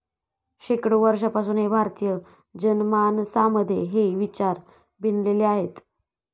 शेकडो वर्षांपासून हे भारतीय जनमानसामध्ये हे विचार भिनलेले आहेत.